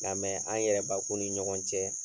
Ŋa an yɛrɛbakun ni ɲɔgɔn cɛ